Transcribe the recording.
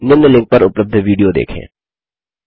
निम्न लिंक पर उपलब्ध विडियो देखें